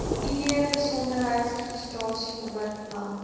id besigheidsregistrasienommer land